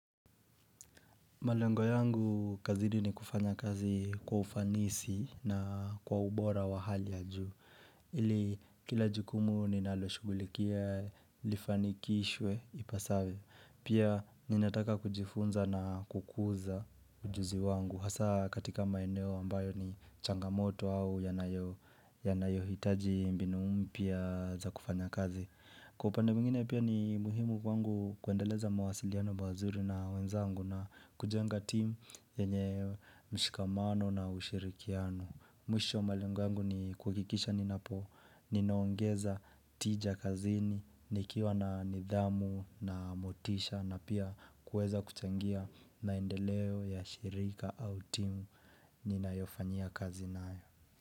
Malengo yangu, kazini ni kufanya kazi kwa ufanisi na kwa ubora wa hali ya juu. Ili, kila jukumu ninalo shughulikia lifanikishwe ipasavyo. Pia, ninataka kujifunza na kukuza ujuzi wangu. Hasa, katika maeneo ambayo ni changamoto au yanayo hitaji mbinu mpya za kufanya kazi. Kwa upande mwingine pia ni muhimu kwangu kuendeleza mawasiliano mazuri na wenzangu na kujenga timu yenye mshikamano na ushirikiano Mwisho malengo yangu ni kuhakikisha ninapo, ninaongeza tija kazini, nikiwa na nidhamu na motisha na pia kuweza kuchangia maendeleo ya shirika au timu ninayo fanyia kazi nayo.